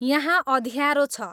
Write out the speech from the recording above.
यहाँ अँध्यारो छ